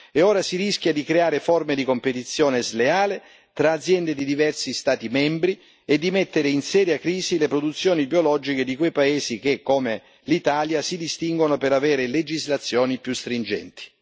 e ora si rischia di creare forme di competizione sleale tra aziende di diversi Stati membri e di mettere in seria crisi le produzioni biologiche di quei paesi che, come l'Italia, si distinguono per avere legislazioni più stringenti.